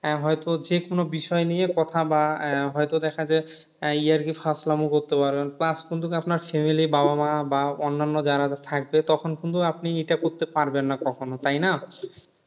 আহ হয়তো যে কোন বিষয় নিয়ে কথা বা আহ হয়তো দেখা যায় আহ ইয়ার্কি ফাজলামো করতে পারবেন plus কিন্তু যদি আপনার family বাবা মা বা অন্যান্য যারা থাকবে তখন কিন্তু আপনি এটা করতে পারবেন না তখন তাই না?